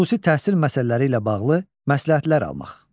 Xüsusi təhsil məsələləri ilə bağlı məsləhətlər almaq.